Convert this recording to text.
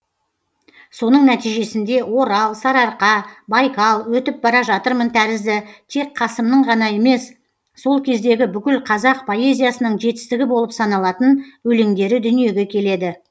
соның нәтижесінде орал сарыарқа байкал өтіп бара жатырмын тәрізді тек қасымның ғана емес сол кездегі бүкіл қазақ поэзиясының жетістігі болып саналатын өлеңдері дүниеге келеді